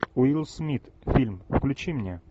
уилл смит фильм включи мне